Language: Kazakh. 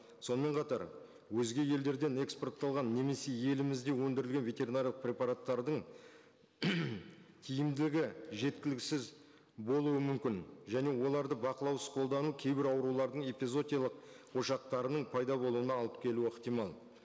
сонымен қатар өзге елдерден экспортталған немесе елімізде өндірілген ветеринарлық препараттардың тиімділігі жеткіліксіз болуы мүмкін және оларды бақылаусыз қолдану кейбір аурулардың эпизоотиялық ошақтарының пайда болуына алып келуі ықтимал